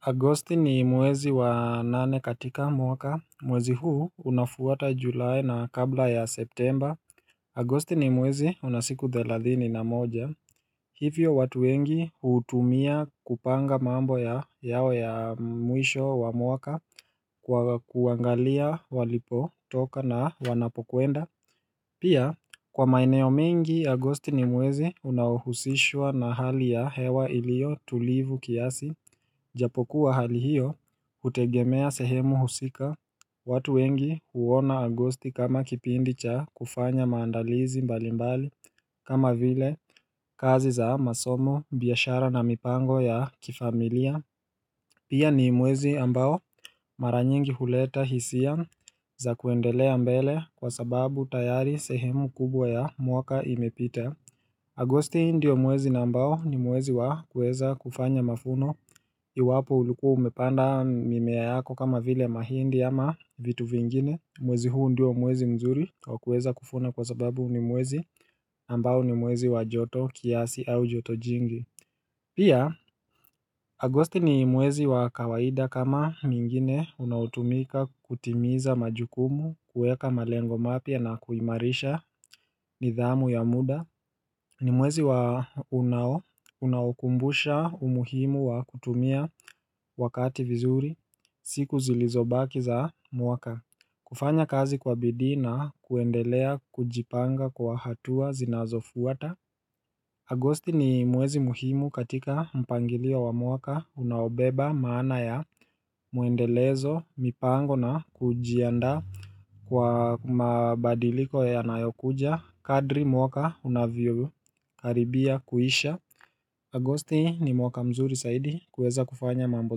Agosti ni mwezi wa nane katika mwaka, mwezi huu unafuata julae na kabla ya septemba. Agosti ni mwezi unasiku thalathini na moja. Hivyo watu wengi huutumia kupanga mambo yao ya mwisho wa mwaka kwa kuangalia walipo toka na wanapokuenda. Pia, kwa maeneo mengi, Agosti ni mwezi unaohusishwa na hali ya hewa ilio tulivu kiasi. Japokuwa hali hiyo. Hutegemea sehemu husika watu wengi huona Agosti kama kipindi cha kufanya maandalizi mbali mbali kama vile kazi za masomo, biashara na mipango ya kifamilia Pia ni mwezi ambao maranyingi huleta hisia za kuendelea mbele kwa sababu tayari sehemu kubwa ya mwaka imepita Agosti ndio mwezi na ambao ni mwezi wa kueza kufanya mafuno Iwapo ulikuwa umepanda mimea yako kama vile mahindi ama vitu vingine Mwezi huu ndio mwezi mzuri wakueza kufuna kwa sababu ni mwezi ambao ni mwezi wa joto kiasi au joto jingi Pia, Agosti ni mwezi wa kawaida kama mingine unaotumika kutimiza majukumu kueka malengo mapya na kuimarisha nidhamu ya muda ni mwezi waunao unaukumbusha umuhimu wa kutumia wakati vizuri siku zilizobaki za mwaka kufanya kazi kwa bidii na kuendelea kujipanga kwa hatua zinazofuata Agosti ni mwezi muhimu katika mpangilio wa mwaka unaobeba maana ya mwendelezo mipango na kujiandqa Kwa mabadiliko ya nayokuja, kadri mwaka unavyo karibia kuisha Agosti ni mwaka mzuri saidi kueza kufanya mambo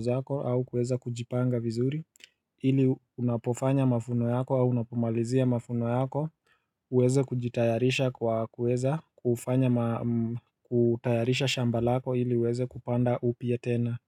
zako au kueza kujipanga vizuri Hili unapofanya mavuno yako au unapomalizia mavuno yako uweze kujitayarisha kwa kueza kufanya kutayarisha shambalako hili uweze kupanda upya tena.